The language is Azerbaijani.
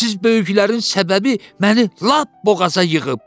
Siz böyüklərin səbəbi məni lap boğaza yığıb.